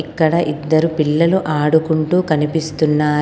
ఇక్కడ ఇద్దరు పిల్లలు ఆడుకుంటూ కనిపిస్తున్నారు.